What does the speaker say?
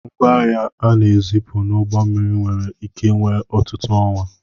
Ngwaahịa a na-ezipụ n'ụgbọ mmiri nwere ike wee ọtụtụ ọnwa.